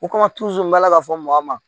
U ka b'a la ka fɔ mɔgɔ ma